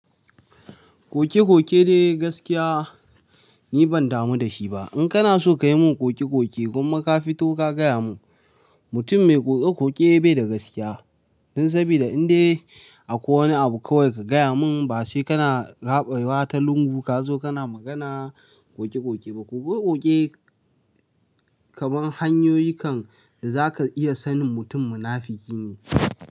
Koke-koke dai gaskiya ni ban damu da shi ba. In kana so ka yi mun koke-koke gwamma ka fito ka gaya mun, mutum mai koke-koke bai da gaskiya. Don saboda indai akwai wani abu kawai ka gaya mun ba sai kana raɓewa wata lungu ka zo kana magana koke-koke. Koke koke kamar hanyoyin kan da za ka iya sanin mutum munafiki ne.